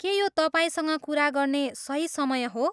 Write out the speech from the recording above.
के यो तपाईँसँग कुरा गर्ने सही समय हो?